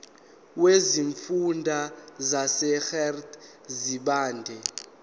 wesifunda sasegert sibande